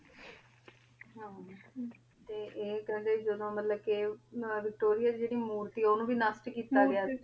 ਹਾਂਜੀ ਹਾਂ ਤੇ ਈਯ ਕੇਹੰਡੀ ਜਦੋਂ ਮਤਲਬ ਕੇ ਵਿਕਟੋਰਿਆ ਦੀ ਜੇਰੀ ਮੂਰਤੀ ਆਯ ਓਨੁ ਵੀ ਨਾਸਾਬ ਕੀਤਾ ਗਯਾ ਸੀ ਹਾਂਜੀ ਅਠਾਈ ਸੂਚੀ ਨੂ ਹੈ ਨਾ ਹਾਂ